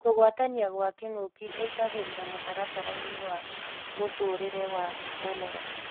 Kũgwatania gwa kĩng'uki ĩingagĩrĩra mũtaratara-inĩ wa mũtũrĩre wa mũmera